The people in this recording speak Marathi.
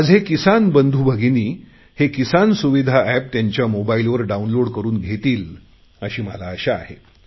माझे किसान बंधुभगिनी हे किसान सुविधा एप त्यांच्या मोबाईलवर डाऊनलोड करुन घेतील अशी मला आशा आहे